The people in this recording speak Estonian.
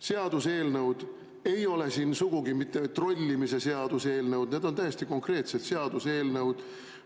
Seaduseelnõud ei ole siin sugugi mitte trollimise seaduseelnõud, need on täiesti konkreetsed seaduseelnõud.